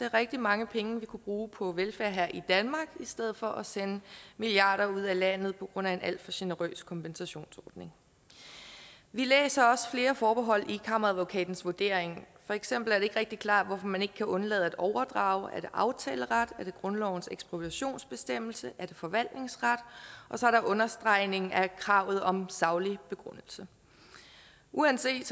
rigtig mange penge vi kunne bruge på velfærd her i danmark i stedet for at sende milliarder ud af landet på grund af en alt for generøs kompensationsordning vi læser også flere forbehold i kammeradvokatens vurdering for eksempel er det ikke rigtig klart hvorfor man ikke kan undlade at overdrage er det aftaleret er det grundlovens ekspropriationsbestemmelse er det forvaltningsret og så er der understregning af kravet om saglig begrundelse uanset